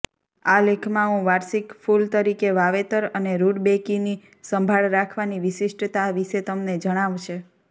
આ લેખમાં હું વાર્ષિક ફૂલ તરીકે વાવેતર અને રુડબેકીની સંભાળ રાખવાની વિશિષ્ટતા વિશે તમને જણાવશે